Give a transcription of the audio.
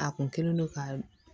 A kun kɛlen don ka